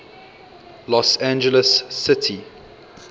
los angeles city